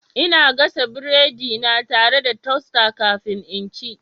Ina gasa biredina tare da toaster kafin in ci.